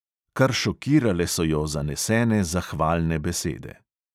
Kar šokirale so jo zanesene zahvalne besede.